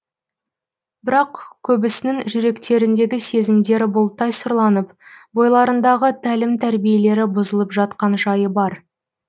бірақ көбісінің жүректеріндегі сезімдері бұлттай сұрланып бойларындағы тәлім тәрбиелері бұзылып жатқан жайы бар